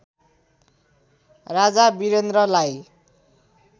राजा वीरेन्द्रलाई